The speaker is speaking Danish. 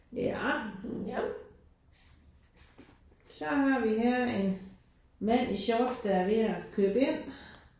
Ja, ja. Så har vi her en mand i shorts der er ved at købe ind